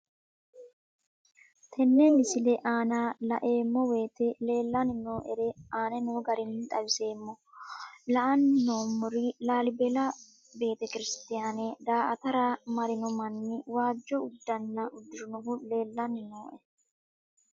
Tenne misile aana laeemmo woyte leelanni noo'ere aane noo garinni xawiseemmo. La'anni noomorri laalibella betekirisitiyaane daa'atarra marinno manni waajo uddana uddirinohu leelanni nooe.